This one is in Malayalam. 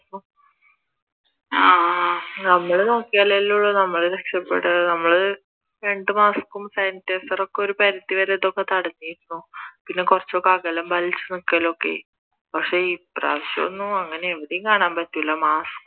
ആഹ് നമ്മൾ നോക്കിയാൽ അല്ലേയുള്ളു നമ്മൾ രക്ഷപ്പെടുക നമ്മൾ രണ്ടു മാസ്കും sanitizer ഒക്കെ ഒരു പരിധി വരെ ഇതൊക്കെ തടഞ്ഞിരുന്നു പിന്നെ കുറച്ചൊക്കെ അകലം പാലിച്ചു നിൽക്കലൊക്കെ പക്ഷെ ഈ പ്രാവിശ്യം ഒന്നും അങ്ങനെ എവിടെയും കാണാൻ പറ്റില്ല